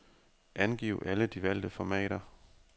Angiv alle de valgte formater.